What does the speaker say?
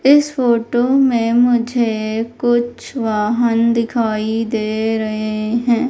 इस फोटो में मुझे कुछ वाहन दिखाई दे रहे है।